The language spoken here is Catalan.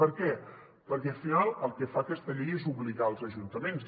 per què perquè al final el que fa aquesta llei és obligar els ajuntaments